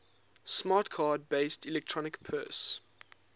smart card based electronic purse